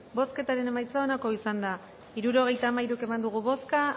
bozketaren emaitza onako izan da hirurogeita hamairu eman dugu bozka